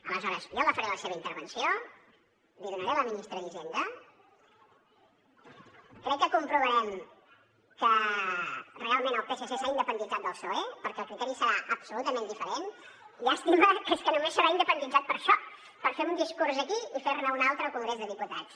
aleshores jo agafaré la seva intervenció l’hi donaré a la ministra d’hisenda crec que comprovarem que realment el psc s’ha independitzat del psoe perquè el criteri serà absolutament diferent llàstima que és que només s’haurà independitzat per a això per fer un discurs aquí i fer ne un altre al congrés dels diputats